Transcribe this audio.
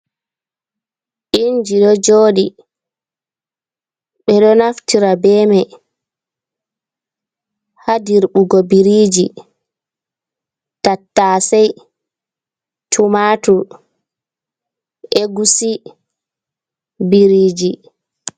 Inji ɗo jooɗi ɓeɗo naftira be mai ha dirɓugo biriji, tatta se, tumatur egusi, biriji.